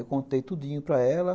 Eu contei tudinho para ela.